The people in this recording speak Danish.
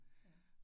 Ja